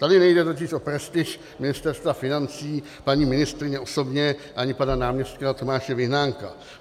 Tady nejde totiž o prestiž Ministerstva financí, paní ministryně osobně ani pana náměstka Tomáše Vyhnánka.